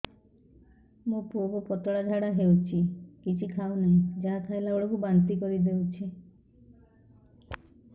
ମୋ ପୁଅ କୁ ପତଳା ଝାଡ଼ା ହେଉଛି କିଛି ଖାଉ ନାହିଁ ଯାହା ଖାଇଲାବେଳକୁ ବାନ୍ତି କରି ଦେଉଛି